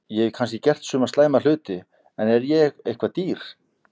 Ég hef kannski gert suma slæma hluti en er ég eitthvað dýr?